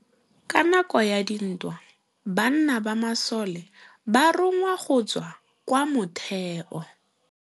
Ka nakô ya dintwa banna ba masole ba rongwa go tswa kwa mothêô.